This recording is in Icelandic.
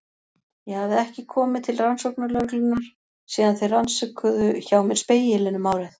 Ég hafði ekki komið til rannsóknarlögreglunnar síðan þeir rannsökuðu hjá mér Spegilinn um árið.